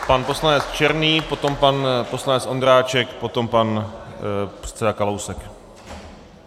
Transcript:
Pan poslanec Černý, potom pan poslanec Ondráček, potom pan předseda Kalousek.